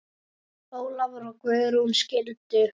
Ólafur og Guðrún skildu.